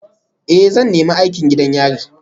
Ee, zan nemi aikin gidan yari